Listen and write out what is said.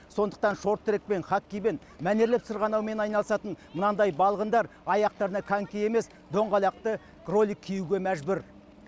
сондықтан шорт трекпен хоккеймен мәнерлеп сырғанаумен айналысатын мынандай балғындар аяқтарына коньки емес доңғалақты ролик киюге мәжбүр